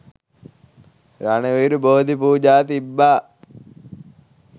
රණවිරු බෝධි පූජා තිබ්බා.